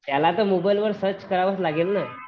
त्याला तर गुगल वर सर्च करावाच लागेल ना